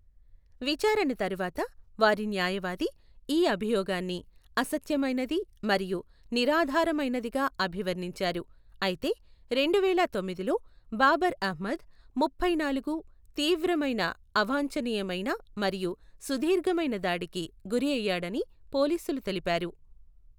విచారణ తర్వాత వారి న్యాయవాది ఈ అభియోగాన్ని అసత్యమైనది మరియు నిరాధారమైనదిగా అభివర్ణించారు, అయితే రెండువేల తొమ్మిదిలో బాబర్ అహ్మద్, ముప్పై నాలుగు, తీవ్రమైన, అవాంఛనీయమైన మరియు సుదీర్ఘమైన దాడికి గురయ్యాడని పోలీసులు తెలిపారు.